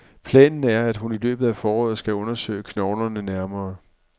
Planen er, at hun i løbet af foråret skal undersøge knoglerne nærmere.